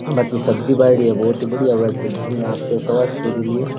बहुत ही बढ़िया सब्जी आपके स्वास्थ के लिए।